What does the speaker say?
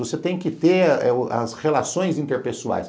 Você tem que ter eh as relações interpessoais.